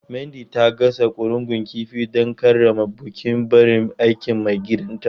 Mandy ta gasa ƙurungun kifi don karrama bukin barin aikin maigidanta.